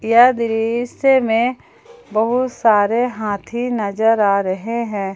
यह दृश्य में बहुत सारे हाथी नजर आ रहे हैं।